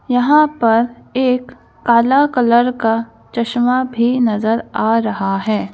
यहां पर एक काला कलर का चश्मा भी नजर आ रहा है।